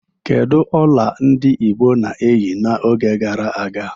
Kedu ọla ndị Igbo na-eyi n'oge gara aga?